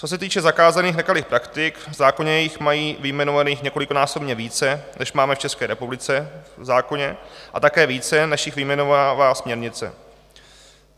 Co se týče zakázaných nekalých praktik, v zákoně jich mají vyjmenováno několikanásobně více, než máme v České republice v zákoně, a také více, než jich vyjmenovává směrnice.